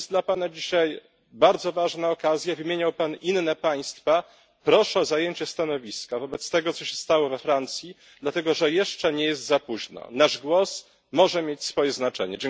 To jest dla Pana dzisiaj bardzo ważna okazja wymieniał Pan inne państwa proszę o zajęcie stanowiska wobec tego, co się stało we Francji, dlatego że jeszcze nie jest za późno, nasz głos może mieć swoje znaczenie.